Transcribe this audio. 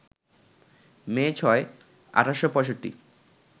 মে ৬, ১৮৬৫